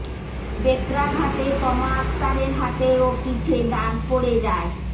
বেত্রাঘাতে তমা আক্তারের হাতে ও পিঠে দাগ পড়ে যায়